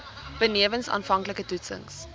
benewens aanvanklike toetsings